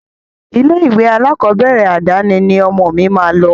Ilé-ìwé alákọ̀ọ́bẹ̀rẹ̀ àdáni ni ọmọ mi máa lọ.